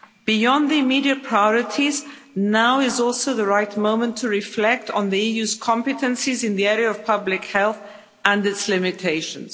Beyond the immediate priorities, now is also the right moment to reflect on the EU's competences in the area of public health, and its limitations.